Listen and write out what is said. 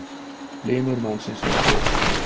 Limur mannsins var stór.